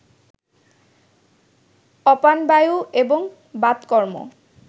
অপানবায়ু এবং বাতকর্ম